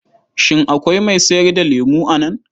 Shin akwai mai sayar da lemo a nan?